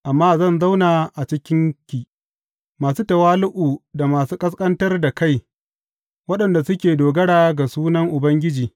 Amma zan zauna a cikinki masu tawali’u da masu ƙasƙantar da kai, waɗanda suke dogara ga sunan Ubangiji.